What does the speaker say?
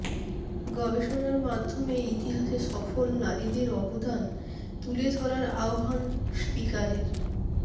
গবেষণার মাধ্যমে ইতিহাসে সফল নারীদের অবদান তুলে ধরার আহ্বান স্পিকারের